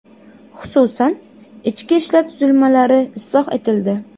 Xususan, ichki ishlar tuzilmalari isloh etildi.